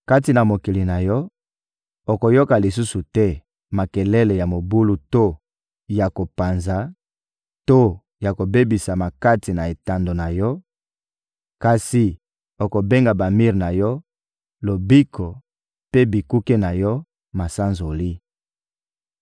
Kati na mokili na yo, okoyoka lisusu te makelele ya mobulu to ya kopanza to ya kobebisama kati na etando na yo; kasi okobenga bamir na yo ‹Lobiko,› mpe bikuke na yo ‹Masanzoli.›